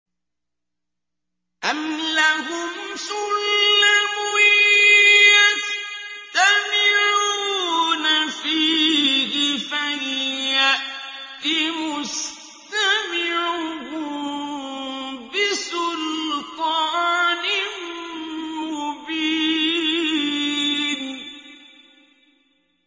أَمْ لَهُمْ سُلَّمٌ يَسْتَمِعُونَ فِيهِ ۖ فَلْيَأْتِ مُسْتَمِعُهُم بِسُلْطَانٍ مُّبِينٍ